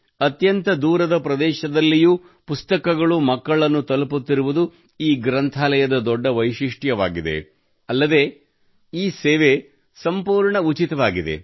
ಅತ್ಯಂತ ದೂರದ ಪ್ರದೇಶಗಳಲ್ಲಿಯೂ ಪುಸ್ತಕಗಳು ಮಕ್ಕಳನ್ನು ತಲುಪುತ್ತಿರುವುದು ಈ ಗ್ರಂಥಾಲಯದ ದೊಡ್ಡ ವೈಶಿಷ್ಟ್ಯವಾಗಿದೆ ಅಲ್ಲದೆ ಈ ಸೇವೆಯು ಸಂಪೂರ್ಣ ಉಚಿತವಾಗಿದೆ